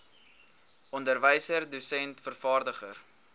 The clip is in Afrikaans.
onderwyser dosent vervaardiger